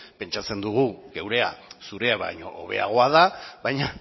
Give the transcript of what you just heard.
pentsatzen dugu gurea zurea baino hobeagoa da baina